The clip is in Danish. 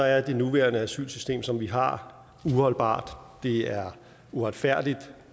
er det nuværende asylsystem som vi har uholdbart det er uretfærdigt